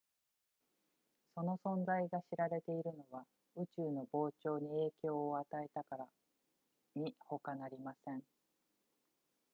その存在が知られているのは宇宙の膨張に影響を与えたからにほかなりません